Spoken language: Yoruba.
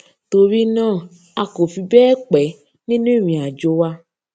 torí náà a kò fi béè pé nínú ìrìnàjò wa